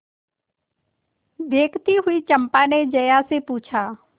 देखती हुई चंपा ने जया से पूछा